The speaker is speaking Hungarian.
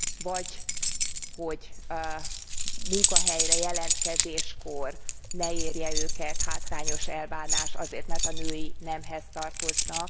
Vagy hogy munkahelyre való jelentkezéskor ne érje őket hátrányos elbánás azért, mert a női nemhez tartoznak.